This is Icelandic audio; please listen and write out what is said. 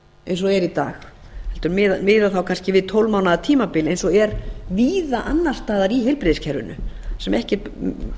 eins og það er í dag heldur miða þá kannski við tólf mánaða tímabil eins og er víða annars staðar í heilbrigðiskerfinu þar sem ekki er